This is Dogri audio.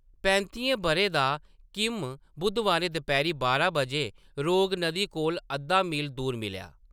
पैंतियें ब`रें दा किम बु़धवारें दपैह्‌‌री बारां बजे रोग नदी कोला अद्धा मील दूर मिलेआ।